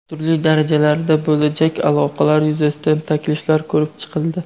Turli darajalarda bo‘lajak aloqalar yuzasidan takliflar ko‘rib chiqildi.